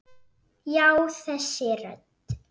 Já, þessi rödd.